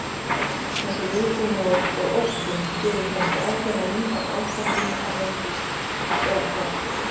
Þessi viðbúnaður og ótti gefur kannski ákveðna mynd af ástandinu á heimsvísu, eða hvað?